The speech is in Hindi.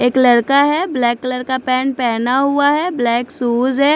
एक लड़का है ब्लैक कलर का पैंट पहना हुआ है ब्लैक शूज है।